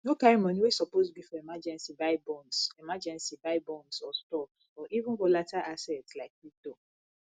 no carry money wey suppose be for emergency buy bonds emergency buy bonds or stocks or even volatile assets like crypto